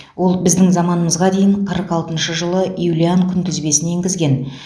ол біздің заманымызға дейін қырық алтыншы жылы юлиан күнтізбесін енгізген